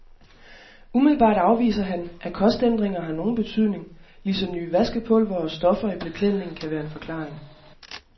Umiddelbart afviser han, at kostændringer har nogen betydning, ligesom nye vaskepulvere og stoffer i beklædningen kan være en forklaring.